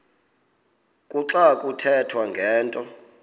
kuxa kuthethwa ngento